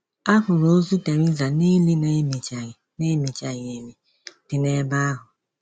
A hụrụ ozu Theresa n’ili na - emichaghị na - emichaghị emi dị n’ebe ahụ.